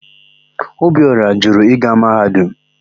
Ọbiora jụrụ ịga Mahadum.